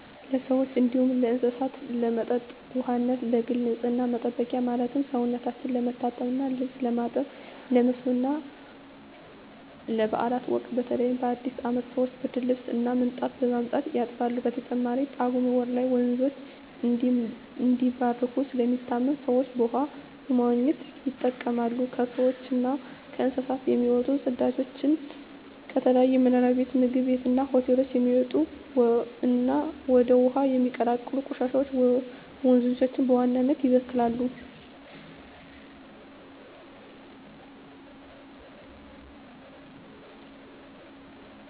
ለሰዎች እንዲሁም ለእስሳት ለመጠጥ ውሃነት፣ ለግል ንፅህና መጠበቂያ ማለትም ሰውነታቸው ለመታጠብ እና ልብስ ለማጠብ፣ ለመስኖ እና ባእላት ወቅት በተለይ በአዲስ አመት ሰወች ብርድልብስ እና ምንጣፍ በማምጣት ያጥባሉ። በተጨማሪም በጳጉሜ ወር ላይ ወንዞች እንደሚባረኩ ስለሚታመን ሰወች በውሃው በመዋኘት ይጠመቃሉ። ከሰውች እና ከእንስሳት የሚወጡ ፅዳጆች፣ ከተለያዩ መኖሪያ ቤት ምግብ ቤት እና ሆቴሎች የሚወጡ እና ወደ ውሀው የሚቀላቀሉ ቆሻሻወች ወንዞችን በዋናነት ይበክላሉ።